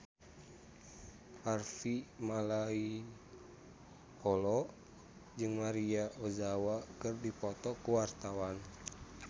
Harvey Malaiholo jeung Maria Ozawa keur dipoto ku wartawan